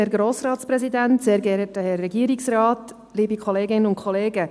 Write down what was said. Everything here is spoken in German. Danke für die Unterstützung.